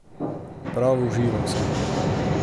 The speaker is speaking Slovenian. Prav užival sem.